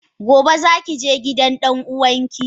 gobe zaki je gidan dan uwanki?